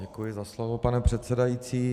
Děkuji za slovo, pane předsedající.